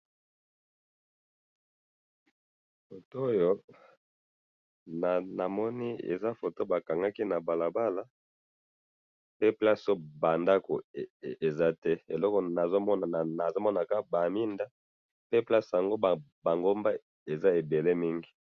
Foto oyo, namoni eza foto bakangaki nabalabala, pe place oyo bandako ezate, eloko nazomona, nazomona kaka baminda, pe place yango bangomba eza ebele mingi.